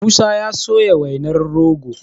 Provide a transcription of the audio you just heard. musa ya soya wainar rogo